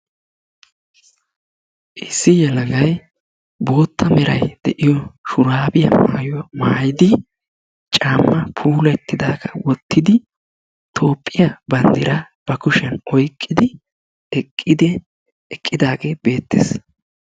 Issi yelagay bootta meray de'iyo shuraabiya maayidi caammaa puulatidaagaa wottidi toophphiya banddiraa ba kushshiyan oyqqidi eqqidi eqqidaagee beettes.